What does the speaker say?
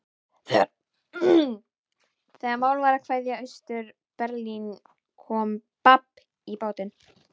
Þegar mál var að kveðja Austur-Berlín kom babb í bátinn.